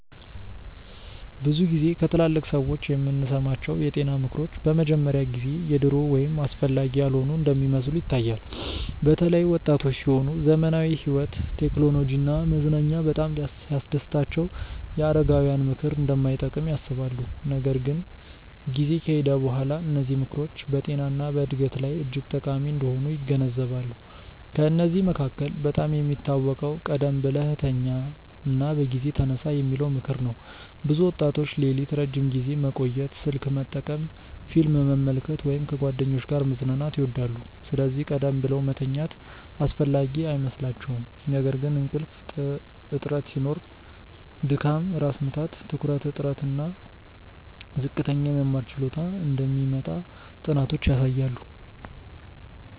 ብዙ ጊዜ ከትላልቅ ሰዎች የምንሰማቸው የጤና ምክሮች በመጀመሪያ ጊዜ የድሮ ወይም አስፈላጊ ያልሆኑ እንደሚመስሉ ይታያል። በተለይ ወጣቶች ሲሆኑ ዘመናዊ ሕይወት፣ ቴክኖሎጂ እና መዝናኛ በጣም ሲያስደስታቸው የአረጋውያን ምክር እንደማይጠቅም ያስባሉ። ነገር ግን ጊዜ ከሄደ በኋላ እነዚህ ምክሮች በጤና እና በዕድገት ላይ እጅግ ጠቃሚ እንደሆኑ ይገነዘባሉ። ከእነዚህ መካከል በጣም የሚታወቀው “ቀደም ብለህ ተኛ እና በጊዜ ተነሳ” የሚለው ምክር ነው። ብዙ ወጣቶች ሌሊት ረዥም ጊዜ መቆየት፣ ስልክ መጠቀም፣ ፊልም መመልከት ወይም ከጓደኞች ጋር መዝናናት ይወዳሉ፤ ስለዚህ ቀደም ብለው መተኛት አስፈላጊ አይመስላቸውም። ነገር ግን እንቅልፍ እጥረት ሲኖር ድካም፣ ራስ ምታት፣ ትኩረት እጥረት እና ዝቅተኛ የመማር ችሎታ እንደሚመጣ ጥናቶች ያሳያሉ